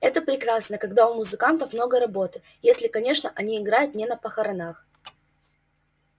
это прекрасно когда у музыкантов много работы если конечно они играют не на похоронах